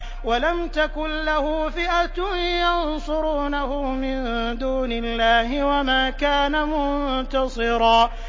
وَلَمْ تَكُن لَّهُ فِئَةٌ يَنصُرُونَهُ مِن دُونِ اللَّهِ وَمَا كَانَ مُنتَصِرًا